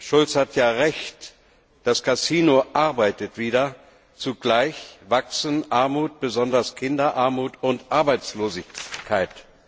Martin Schulz hat ja Recht Das Kasino arbeitet wieder, zugleich wachsen Armut besonders Kinderarmut und Arbeitslosigkeit.